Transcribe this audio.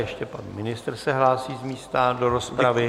Ještě pan ministr se hlásí z místa do rozpravy.